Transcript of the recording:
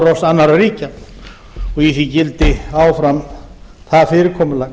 árás annarra ríkja og í því gildi áfram þannig fyrirkomulag